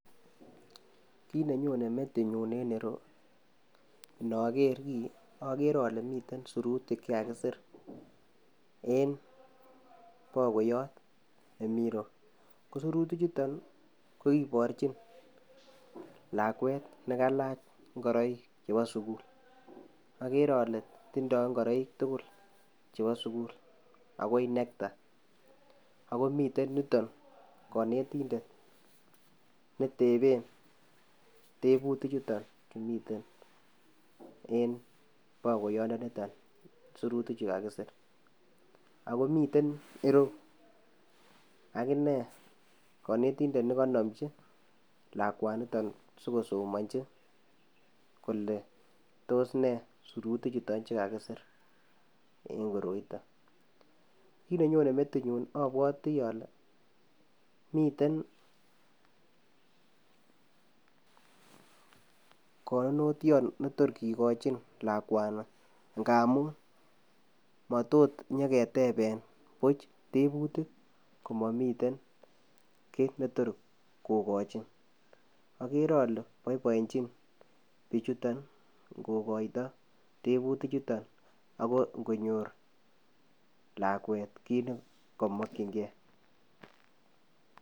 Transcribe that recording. Kit nenyone metinyun en ireu, inoker kii, ogeere OLE miten sirutik chekakisir en bokoyot nemi ireu. Kosirutichuton kokiborchin lakwet nekailach ingoroik ab sukul. Agere ale tindo ingoroik tugul chebo sugul akoi nekta, ako miten yuton konitendet neteben tebutichuton Chu miyu en bokoindoniton surutik Chu kakisir .Ako miten ireyu akine konetindet nekonomchi lakwaniton sikosomonyin kole tos nee siruti chuton kakisiir en route, kit nenyone metinyun abwoti kole miten konunotiot netok kikochin lakwani ngamun matot inyon keteben buch tebutik komomiten kit netorkokochin, akere ale boiboenyin bichuton kokoito tebutichuton, ako ingonyor lakwet kit nekomokchin gee.